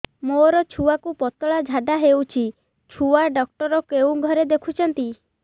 ମୋର ଛୁଆକୁ ପତଳା ଝାଡ଼ା ହେଉଛି ଛୁଆ ଡକ୍ଟର କେଉଁ ଘରେ ଦେଖୁଛନ୍ତି